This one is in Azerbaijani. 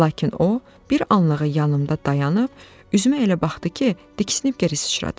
Lakin o, bir anlığa yanımda dayanıb, üzümə elə baxdı ki, diksinib geri sıçradım.